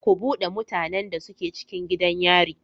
Ku bude mutanan da suke cikin gidan yari.